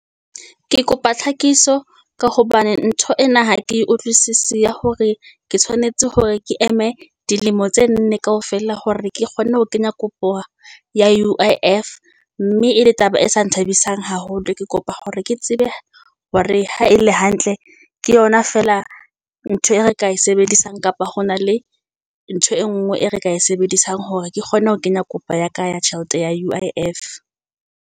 Ke kopa tlhakiso ka hobane ntho ena ha ke utlwisisi ya hore ke tshwanetse hore ke eme dilemo tse nne kaofela hore ke kgonne ho kenya kopo ya U_I _F. Mme e le taba e sa nthabisang haholo, ke kopa hore ke tsebe hore ha e le hantle ke yona feela ntho e re ka e sebedisang. Kapa hona le ntho e nngwe e re ka e sebedisang hore ke kgone ho kenya kopo ya ka ya tjhelete ya U_I _F.